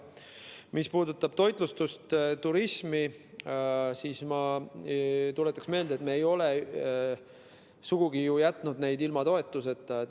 Mis puudutab toitlustust ja turismi, siis ma tuletan meelde, et me ei ole sugugi ju jätnud neid ilma toetuseta.